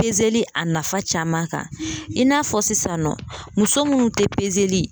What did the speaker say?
a nafa caman kan i n'a fɔ sisan nɔ muso minnu tɛ